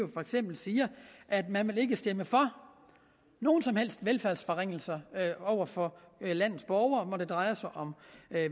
for eksempel siger at man ikke vil stemme for nogen som helst velfærdsforringelser over for landets borgere når det drejer sig om